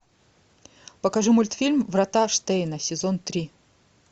покажи мультфильм врата штейна сезон три